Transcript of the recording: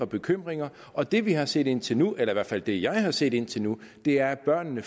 bekymringer og det vi har set indtil nu eller i hvert fald det jeg har set indtil nu er at børnene